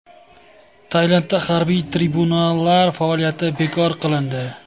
Tailandda harbiy tribunallar faoliyati bekor qilindi.